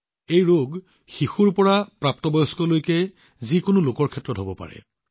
এই ৰোগ শিশুৰ পৰা ডাঙৰলৈকে যিকোনো লোকৰ ক্ষেত্ৰত হব পাৰে